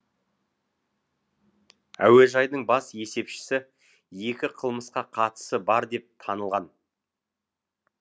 әуежайдың бас есепшісі екі қылмысқа қатысы бар деп танылған